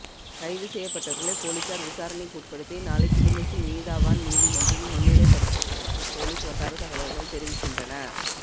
கைது செய்யப்பட்டவர்களை பொலிஸார் விசாரணைக்கு உட்படுத்தி நாளை கிளிநொச்சி நீதவான் நீதிமன்றில் முன்னிலைப்படுத்த உள்ளதாக பொலிஸ் வட்டாரத் தகவல்கள் தெரிவிக்கின்றன